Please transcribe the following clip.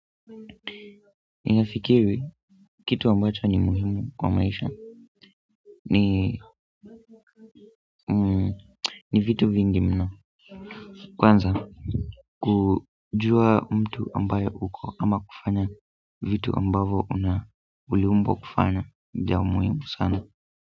Ninafikiri kitu ambacho ni muhimu kwa maisha ni vitu vingi mno kwanza kujua mtu ambaye uko ama kufanya vitu ambavyo una uliumbwa kufanya ya muhimu sana.